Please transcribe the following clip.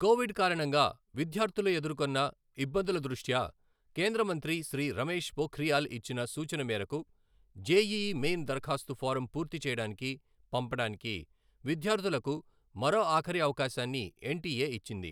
Covid కారణంగా విద్యార్థులు ఎదుర్కొన్న ఇబ్బందుల దృష్ట్యా కేంద్ర మంత్రి శ్రీ రమేష్ పోఖ్రియాల్ ఇచ్చిన సూచన మేరకు, జేఈఈ మెయిన్ దరఖాస్తు ఫారం పూర్తి చేయడానికి, పంపడానికి విద్యార్థులకు మరో ఆఖరి అవకాశాన్ని ఎన్టీఏ ఇచ్చింది.